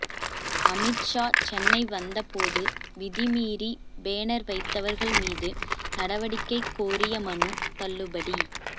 அமித்ஷா சென்னை வந்த போது விதிமீறி பேனர் வைத்தவர்கள் மீது நடவடிக்கை கோரிய மனு தள்ளுபடி